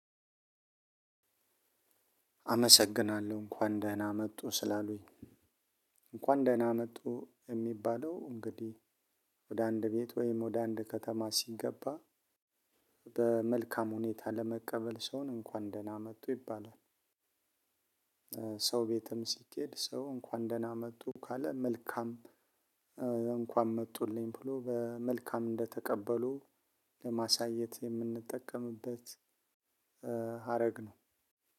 አመሰግናለሁ እንኳን ደህና መጡ ስላሉኝ እንኳን ደህና መጡ የሚባለው እንግዲህ ወደ አንድ ቤት ወይም ወደ አንድ ከተማ ሲገባ በመልካም ሁኔታ ለመቀበል ሰውን እንኳን ደህና መጡ ይባላል። ሰው ቤትም ሲኬድ ሰው እንኳን ደህና መጡ ካለ መልካም እንኳን መጡልኝ ብሎ በመልካም እንደተቀበሉ ለማሳየት የምንጠቀምበት። ሀረግ ነው።